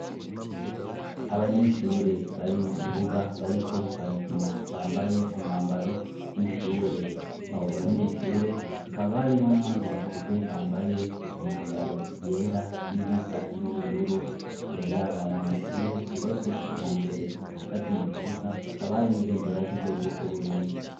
Abanyeshure bari mu kibuga bariko barakina bambaye umwambaro w'ishure abo banyeshure hakabarimwo n'abandi bakuze bambaye imyambaro yera n'iyoisa n'ubururu imbere yabo hari amashure yubatswekija mbere hagati mu kibuga akabari n'ibenderaj' igykwe guco uburundi.